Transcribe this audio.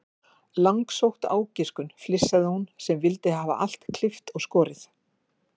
Langsótt ágiskun, flissaði hún sem vildi hafa allt klippt og skorið.